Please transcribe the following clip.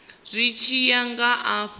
zwi tshi ya nga afho